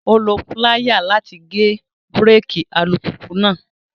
Ó lo piláyà láti gé bíréèkì alùpùpù náà